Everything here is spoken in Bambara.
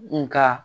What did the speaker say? Nga